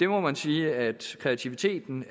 må man sige at kreativiteten